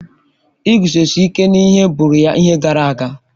Iguzosi ike n'ihe bụụrụ ya ihe gara aga.